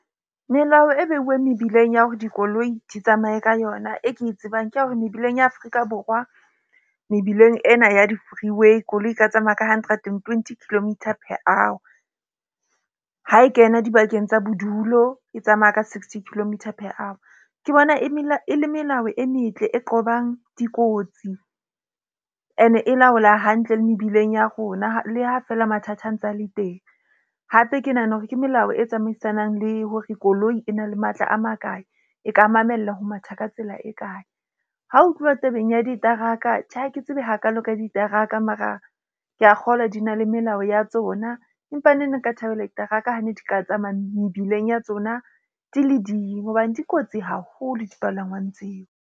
Melao e behuweng mebileng ya hore dikoloi di tsamaye ka yona, e ke e tsebang ke ya hore mebileng ya Afrika Borwa mebileng ena ya di-freeway koloi e ka tsamaya ka hundred and twenty kilometre per hour. Ha e kena dibakeng tsa bodulo, e tsamaya ka sixty kilometer per hour. Ke bona e e le melao e metle e qobang dikotsi, ene e laola hantle le mebileng ya rona. Le ha feela mathata a ntse a le teng. Hape ke nahana hore ke melao e tsamaisanang le hore koloi e na le matla a makae, e ka mamella ho matha ka tsela e kae. Ha ho tluwa tabeng ya diteraka, Tjhe ha ke tsebe hakaalo ka diteraka mara ke a kgolwa di na le melao ya tsona, empa neng nka thabela diteraka ha ne di ka tsamaya mebileng ya tsona, di le ding hobane di kotsi haholo dipalangwang tseo.